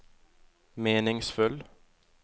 meningsfull